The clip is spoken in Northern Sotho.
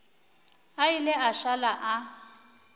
a ile a šala a